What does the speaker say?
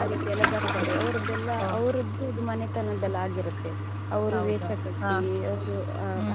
ಆ ರೀತೀಯೆಲ್ಲಾ ಬರ್ತಾರೆ ಅವರದ್ದೆಲ್ಲ ಅವರದ್ದು ಮನೆತನದ್ದು ಎಲ್ಲ ಆಗಿರುತ್ತೆ ಅವರು ವೇಷ ಕಟ್ಟಿ